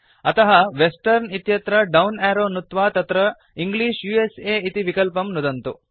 अतः वेस्टर्न इत्यत्र down arrow नुत्वा तत्र इंग्लिश उस इति विकल्पं नुदन्तु